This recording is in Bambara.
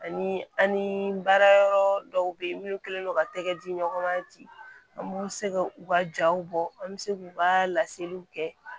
Ani an ni baarayɔrɔ dɔw bɛ yen minnu kɛlen don ka tɛgɛ di ɲɔgɔn ma ten an b'u se ka u ka jaw bɔ an bɛ se k'u ka laseliw kɛ